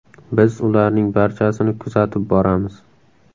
Biz ularning barchasini kuzatib boramiz.